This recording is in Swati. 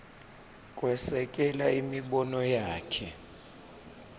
kwesekela imibono yakhe